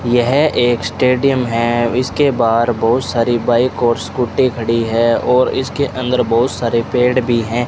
यह एक स्टेडियम है इसके बाहर बहुत सारी बाइक और स्कूटी खड़ी है और इसके अंदर बहुत सारे पेड़ भी हैं।